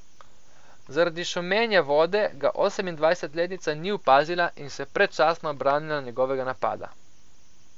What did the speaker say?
Zaradi šumenja vode ga osemindvajsetletnica ni opazila in se predčasno obranila njegovega napada.